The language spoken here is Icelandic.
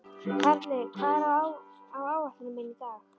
Karli, hvað er á áætluninni minni í dag?